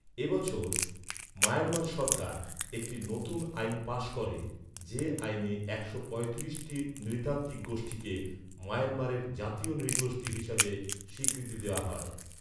এ বছর মায়ানমার সরকার একটি নতুন আইন পাস করে, যে আইনে একশো পঁয়ত্রিশটি নৃতাত্ত্বিক গোষ্ঠীকে মায়ানমারের ‘জাতীয় নৃগোষ্ঠী’ হিসেবে স্বীকৃতি দেওয়া হয়।